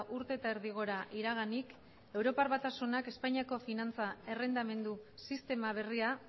urte eta erdi gora iraganik europar batasunak espainiako finantza errendamendu sistema berria